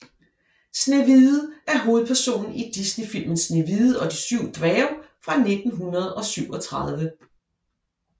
Snehvide er hovedpersonen i Disneyfilmen Snehvide og de syv dværge fra 1937